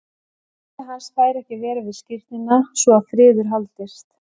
Afi hans fær ekki að vera við skírnina svo að friður haldist.